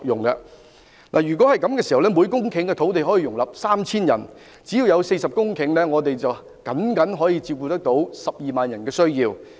如果政府願意這樣做，每公頃土地可以容納 3,000 人，只要有40公頃土地，便剛可照顧約12萬人的需要。